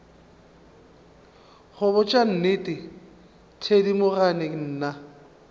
go botša nnete thedimogane nna